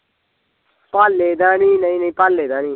ਪਾਲੇ ਦਾ ਨੀ ਨਈ ਨਈ ਪਾਲੇ ਦਾ ਨੀ